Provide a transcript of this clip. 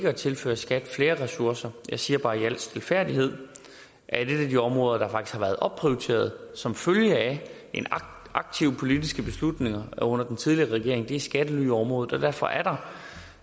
at tilføre skat flere ressourcer jeg siger bare i al stilfærdighed at et af de områder der faktisk har været opprioriteret som følge af en aktiv politisk beslutning under den tidligere regering er skattelyområdet og derfor er der